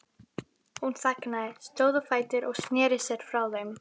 Hún þagnaði, stóð á fætur og sneri sér frá þeim.